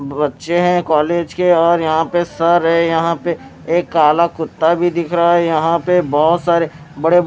बच्चे हैं कॉलेज के और यहां पे सर है। यहां पे एक काला कुत्ता भी दिख रहा है। यहां पे बहुत सारे बड़े--